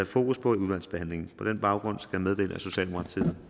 fokus på i udvalgsbehandlingen på den baggrund skal jeg meddele at socialdemokratiet